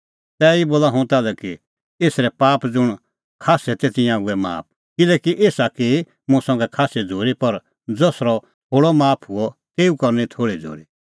तैही बोला हुंह ताल्है कि एसरै पाप ज़ुंण खास्सै तै तिंयां हुऐ माफ किल्हैकि एसा की मुंह संघै खास्सी झ़ूरी पर ज़सरअ थोल़अ माफ हुअ तेऊ करनी थोल़ी झ़ूरी